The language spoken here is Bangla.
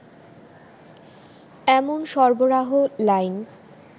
এমন সরবরাহ লাইন